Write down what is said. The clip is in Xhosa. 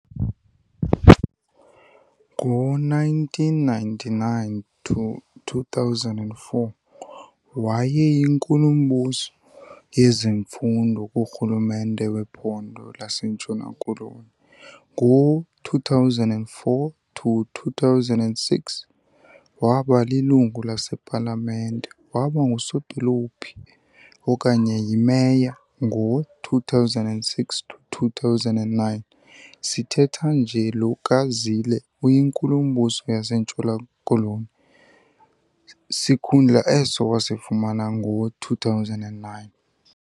Ngo-1999-2004 wayeyinkulumbuso yezemfundo kurhulumente wePhondo laseNtshona Koloni, ngo2004 - 2006 waba lilungu lasePalamente waba ngusodolophu okanye yi-Meya, ngo-2006-2009. Sithetha nje lo kaZille uyiNkulumbuso yaseNtshona-Koloni, sikhundla eso wasifumana ngo-2009.